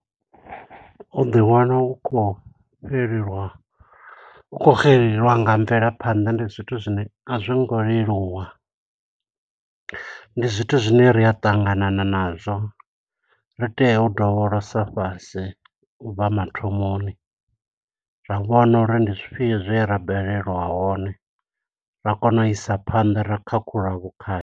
U ḓi wana u khou fhelelwa, u khou xelelwa nga mvelaphanḓa, ndi zwithu zwine a zwo ngo leluwa. Ndi zwithu zwine ri a ṱanganana nazwo, ri tea u dovholosa fhasi, ubva mathomoni. Ra vhona uri ndi zwifhio zwe ra balelwa hone, ra kona u isa phanḓa ra khakhulula vhukhakhi.